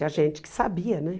E a gente que sabia, né?